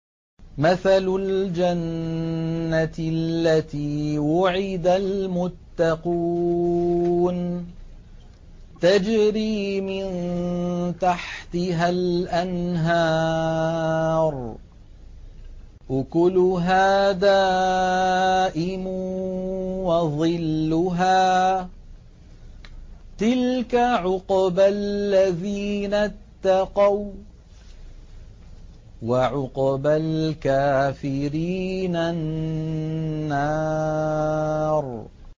۞ مَّثَلُ الْجَنَّةِ الَّتِي وُعِدَ الْمُتَّقُونَ ۖ تَجْرِي مِن تَحْتِهَا الْأَنْهَارُ ۖ أُكُلُهَا دَائِمٌ وَظِلُّهَا ۚ تِلْكَ عُقْبَى الَّذِينَ اتَّقَوا ۖ وَّعُقْبَى الْكَافِرِينَ النَّارُ